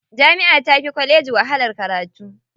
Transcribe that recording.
Jami'a tafi kwalleji wahalar karatu.